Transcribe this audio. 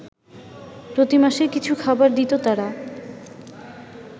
প্রতিমাসে কিছু খাবার দিত তারা